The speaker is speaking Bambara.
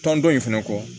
Tɔn dɔn in fana kɔ